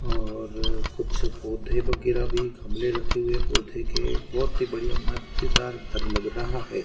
और कुछ पौधे वगैरह भी गमले रखे हुए पौधे बहोत ही बढ़िया मजेदार घर लग रहा है।